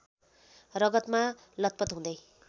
रगतमा लतपत हुँदै